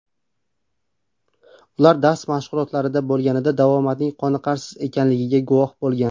Ular dars mashg‘ulotlarida bo‘lganida davomatning qoniqarsiz ekanligiga guvoh bo‘lgan.